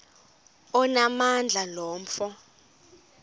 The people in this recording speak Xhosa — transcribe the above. onamandla lo mfo